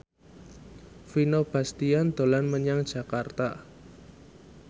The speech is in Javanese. Vino Bastian dolan menyang Jakarta